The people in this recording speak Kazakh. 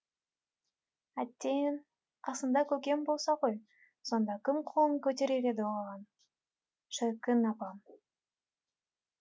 әттең қасында көкем болса ғой сонда кім қолын көтерер еді оған шіркін апам